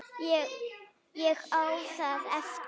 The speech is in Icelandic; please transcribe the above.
Ég á það eftir.